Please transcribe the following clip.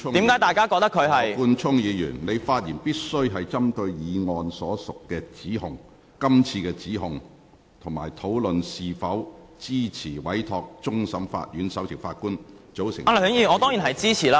羅冠聰議員，你的發言必須針對這項議案所述的指控，以及討論是否支持委托終審法院首席法官組成調查委員會。